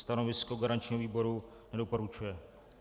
Stanovisko garančního výboru: nedoporučuje.